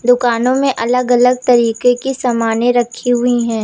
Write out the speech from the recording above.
दुकानों में अलग अलग तरीके के सामाने रखी हुई है।